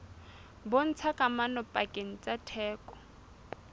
bontshang kamano pakeng tsa theko